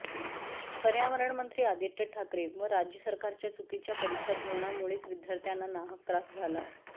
पर्यावरण मंत्री आदित्य ठाकरे व राज्य सरकारच्या चुकीच्या परीक्षा धोरणामुळेच विद्यार्थ्यांना नाहक त्रास झाला